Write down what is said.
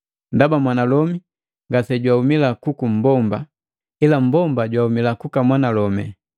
Ndaba mwanalomi ngasejwaumila kuku mmbomba, ila mmbomba jwauma kuka mwanalomi.